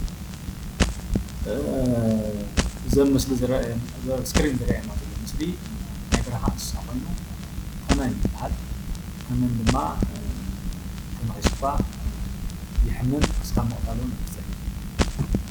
እዚ ምስሊ ተመን ይበሃል። ተመን እንተነኺሱካ የሐመካ ኽሳብ ምቅታል ውን የብፅሕ።